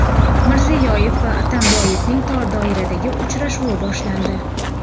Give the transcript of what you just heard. Mirziyoyev va Atamboyevning tor doiradagi uchrashuvi boshlandi.